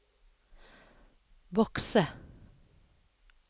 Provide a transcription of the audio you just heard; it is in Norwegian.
bokse